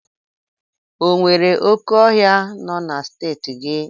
O nwere oké ọhịa nọ na Steeti gị?